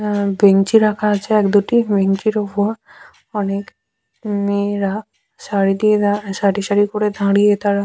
আ bench -ই রাখা আছে এক দুটি বেঞ্চ -ইর ওপর অনেক মেয়েরা সারি দিয়ে দাঁ সারি সারি করে দাঁড়িয়ে তারা--